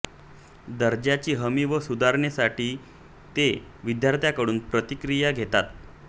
दर्जाची हमी व सुधारणेसाठी ते विद्यार्थ्यांकडून प्रतिक्रिया घेतात